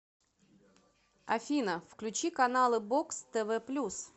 афина включи каналы бокс тв плюс